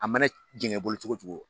A mana jɛgɛn i bolo cogo o cogo